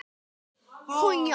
Þannig virkar mitt flæði.